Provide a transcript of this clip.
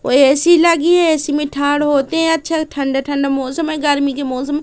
और ए_सी लगी है ए_सी मे थाड़ होते अच्छा ठंडा ठंडा मौसम है गर्मी की मौसम--